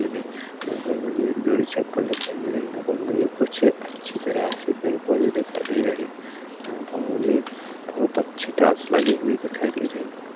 हमें यहाँ पर मुझे एक जोड़ी चप्पल दिखाई दे रही है यहाँ पर मुझे कुछ अच्छी तरह से पेड़-पौधे दिखाई दे रहे है यहाँ पर मुझे बहोत अच्छी टाइल्स लगी हुई दिखाई दे रही है।